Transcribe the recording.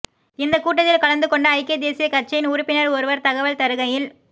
இந்தக் கூட்டத்தில் கலந்து கொண்ட ஐக்கிய தேசியக்கட்சியின் உறுப்பினர் ஒருவர் தகவல் தருகையில்